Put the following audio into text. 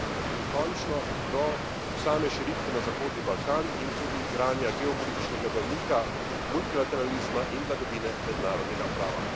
In končno do same širitve na Zahodni Balkan in tudi igranja geopolitičnega branika multilateralizma in vladavine mednarodnega prava.